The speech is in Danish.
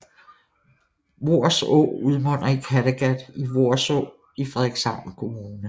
Voers Å udmunder i Kattegat i Voerså i Frederikshavn Kommune